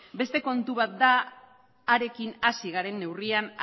beste kontu bat da harekin hasi garen neurrian